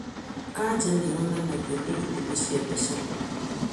Kanja nĩyonanagio nĩ ithimi cia mbica